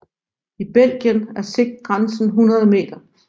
I Belgien er sigtgrænsen 100 meter